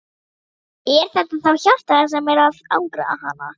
Er þetta þá hjartað sem er að angra hana?